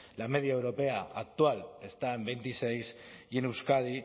la media europea actual está en veintiséis y en euskadi